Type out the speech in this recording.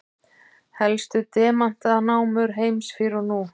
Helstu demantanámur heims fyrr og nú.